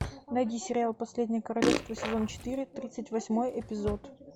найди сериал последнее королевство сезон четыре тридцать восьмой эпизод